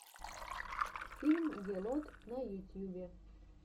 фильм гелот на ютьюбе